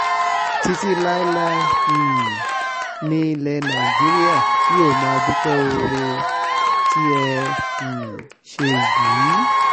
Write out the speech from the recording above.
títí láéláé um nílẹ̀ nàìjíríà yóò máa dúpẹ́ oore tí ẹ um ṣe yìí